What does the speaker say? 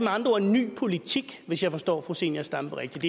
andre ord en ny politik hvis jeg forstår fru zenia stampe rigtigt